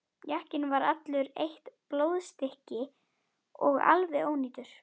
Jakkinn var allur eitt blóðstykki og alveg ónýtur.